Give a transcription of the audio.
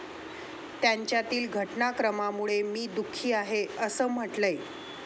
त्यांच्यातील घटनाक्रमामुळे मी दुःखी आहे' असं म्हटलंय.